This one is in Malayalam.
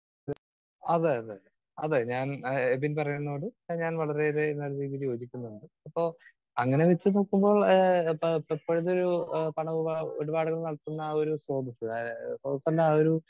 സ്പീക്കർ 2 അതെ അതെ അതെ ഞാൻ ആഹ് എബിൻ പറയുന്നതിനോട് ഞാൻ വളരെയേറെ നല്ല രീതിയിൽ യോജിക്കുന്നുണ്ട്. ഇപ്പോ അങ്ങനെ വച്ചുനോക്കുമ്പോൾ ആഹ്‌ ഇപ്പോഴത്തെ ഒരു പണമിടപാടുകൾ നടത്തുന്ന ആ ഒരു സ്രോതസ്സ് സ്രോതസ്സിന്റെ ആ ഒരു